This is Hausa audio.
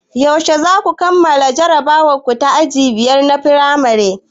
Yaushe zaku kammala jarabawar ku ta aji biyar na firamare?